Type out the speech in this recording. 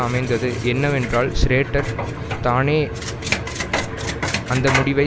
அமைந்தது என்னவென்றால் ஷ்ரேட்டர் தானே அந்த முடிவை